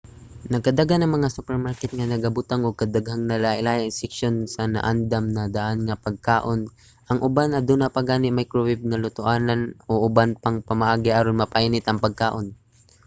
nagkadaghan ang mga supermarket nga nagabutang og daghang lahilahi nga seksyon sa naandam-na-daan nga pagkaon. ang uban aduna pa gani microwave nga lutoanan o uban pang pamaagi aron mapainit ang pagkaon